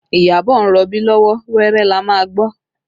Iyabọ̀ ń rọbí lọ́wọ́, wẹ́rẹ́ la máa gbọ́